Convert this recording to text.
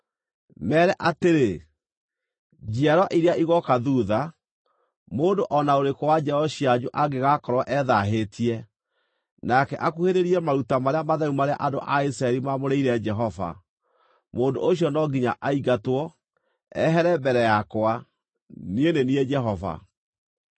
“Meere atĩrĩ, ‘Njiarwa iria igooka thuutha, mũndũ o na ũrĩkũ wa njiaro cianyu angĩgakorwo ethaahĩtie, nake akuhĩrĩrie maruta marĩa matheru marĩa andũ a Isiraeli maamũrĩire Jehova, mũndũ ũcio no nginya aingatwo, ehere mbere yakwa. Niĩ nĩ niĩ Jehova.